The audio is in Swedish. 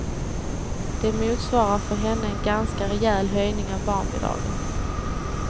Det motsvarar för henne en ganska rejäl höjning av barnbidraget.